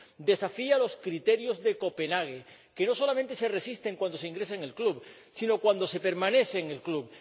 Desafía los criterios de Copenhague, que no solamente se exigen cuando se ingresa en el club, sino cuando se permanece en el club.